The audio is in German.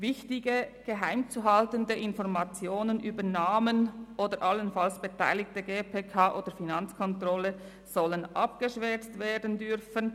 Wichtige, geheim zu haltende Informationen über Namen oder allenfalls Beteiligte seitens der GPK oder der Finanzkontrolle sollen eingeschwärzt werden dürfen.